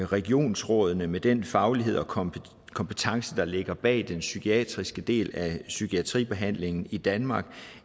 regionsrådene med den faglighed og kompetence kompetence der ligger bag den psykiatriske del af psykiatribehandlingen i danmark